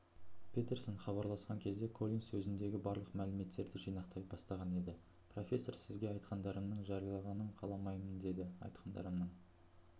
петерсон хабарласқан кезде коллинс өзіндегі барлық мәліметтерді жинақтай бастаған еді профессор сізге айтқандарымның жариялағанын қаламаймын деді айтқандарымның